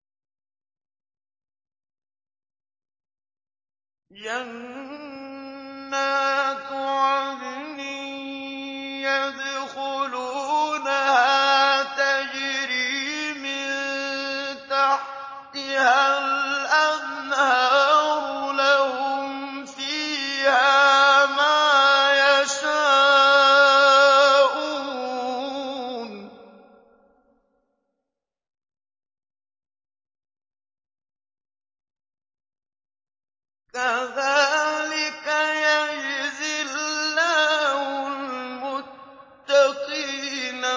جَنَّاتُ عَدْنٍ يَدْخُلُونَهَا تَجْرِي مِن تَحْتِهَا الْأَنْهَارُ ۖ لَهُمْ فِيهَا مَا يَشَاءُونَ ۚ كَذَٰلِكَ يَجْزِي اللَّهُ الْمُتَّقِينَ